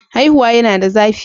Haihuwa yana da zafi